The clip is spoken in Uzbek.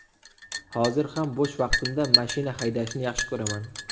Hozir ham bo‘sh vaqtimda mashina haydashni yaxshi ko‘raman.